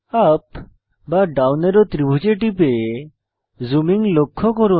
up বা down arrow ত্রিভুজে টিপে জুমিং লক্ষ্য করুন